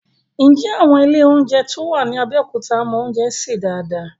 Ǹjẹ́ àwọn ilé oúnjẹ tó wà ní Abẹ́òkúta mọ oúnjẹ sè dáadáa?